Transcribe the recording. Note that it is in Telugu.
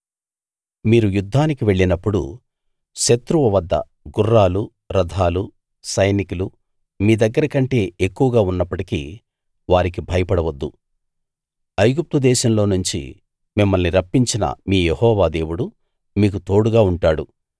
మీరు యుద్ధానికి వెళ్లినప్పుడు శత్రువు వద్ద గుర్రాలు రథాలు సైనికులు మీ దగ్గర కంటే ఎక్కువగా ఉన్నప్పటికీ వారికి భయపడవద్దు ఐగుప్తు దేశంలోనుంచి మిమ్మల్ని రప్పించిన మీ యెహోవా దేవుడు మీకు తోడుగా ఉంటాడు